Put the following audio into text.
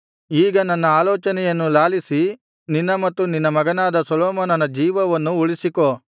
ಈಗ ನನ್ನ ಆಲೋಚನೆಯನ್ನು ಲಾಲಿಸಿ ನಿನ್ನ ಮತ್ತು ನಿನ್ನ ಮಗನಾದ ಸೊಲೊಮೋನನ ಜೀವವನ್ನು ಉಳಿಸಿಕೋ